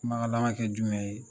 Kumakan laban kɛ jumɛn ye